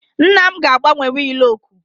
Nna m ga-agbanwe wiil oku